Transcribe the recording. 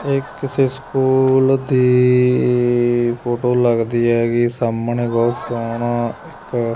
ਇਹ ਕਿਸੇ ਸਕੂਲ ਦੀ ਫੋਟੋ ਲੱਗਦੀ ਹੈਗੀ ਸਾਹਮਣੇ ਬਹੁਤ ਸੋਹਣਾ ਇੱਕ--